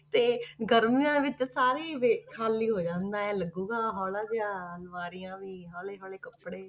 ਤੇ ਗਰਮੀਆਂ ਵਿੱਚ ਸਾਰੇ ਹੀ ਵੀ ਖਾਲੀ ਹੋ ਜਾਂਦਾ, ਇਉਂ ਲੱਗੇਗਾ ਹੌਲਾ ਜਿਹਾ ਅਲਮਾਰੀਆਂ ਵੀ ਹੌਲੇ ਹੌਲੇ ਕੱਪੜੇ।